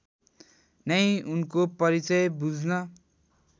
नै उनको परिचय बुझ्न